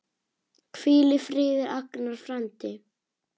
Hvíl í friði, Agnar frændi.